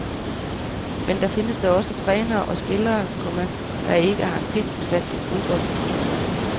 Men der findes da også trænere og spillere, komma der ikke har en pind forstand på fodbold. punktum